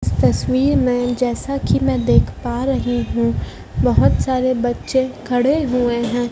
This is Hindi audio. तस्वीर में जैसा कि मैं देख पा रही हूं बहुत सारे बच्चे खड़े हुए हैं।